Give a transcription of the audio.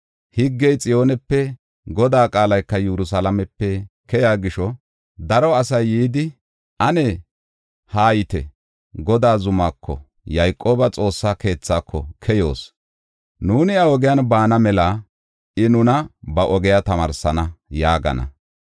Higgey Xiyoonepe, Godaa qaalay Yerusalaamepe keyiya gisho, daro asay yidi, “Ane haayite! Godaa zumako, Yayqooba Xoossa keethaako keyoos. Nuuni iya ogiyan baana mela I nuna ba ogiya tamaarsana” yaagana.